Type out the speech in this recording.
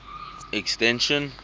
extension